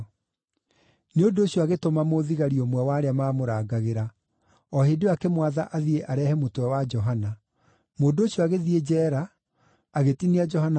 Nĩ ũndũ ũcio agĩtũma mũthigari ũmwe wa arĩa maamũrangagĩra, o hĩndĩ ĩyo akĩmwatha athiĩ arehe mũtwe wa Johana. Mũndũ ũcio agĩthiĩ njeera agĩtinia Johana mũtwe